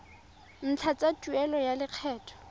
ntlha tsa tuelo ya lekgetho